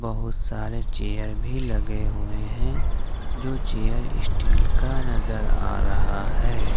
बहुत सारे चेयर भी लगे हुए हैं जो चेयर स्टील का नजर आए रहा है।